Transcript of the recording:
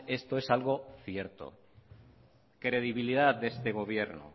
esto es algo cierto credibilidad de este gobierno